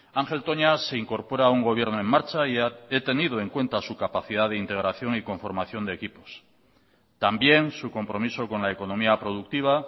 ángel toña se incorpora a un gobierno en marcha y he tenido en cuenta su capacidad de integración y conformación de equipos también su compromiso con la economía productiva